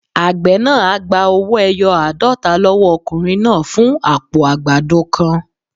Àgbẹ̀ náà á gba owó-ẹyọ aadota lọ́wọ́ ọkùnrin náà fún àpò àgbàdo kan.